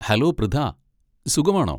Hello, Pritha. സുഖമാണോ?